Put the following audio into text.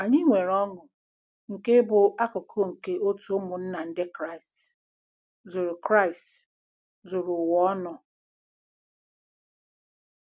Anyị nwere ọṅụ nke ịbụ akụkụ nke òtù ụmụnna Ndị Kraịst zuru Kraịst zuru ụwa ọnụ.